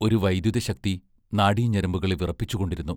ഒരു വൈദ്യുതശക്തി നാഡിഞരമ്പുകളെ വിറപ്പിച്ചുകൊണ്ടിരുന്നു.